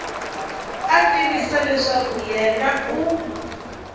a tivisa leswaku yena u